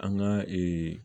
An ka ee